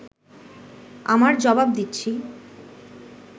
আমার জবাব দিচ্ছি